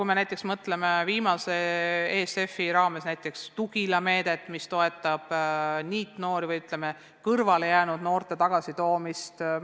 Samas on hea näide viimase ESF-i raames rakendatud Tugila meede, mis toetab NEET-noori ehk kõrvale jäänud noorte toomist ühisellu.